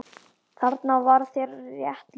Þarna var þér rétt lýst.